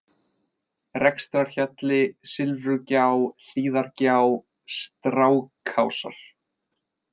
Rekstrarhjalli, Silfrugjá, Hlíðargjá, Strákásar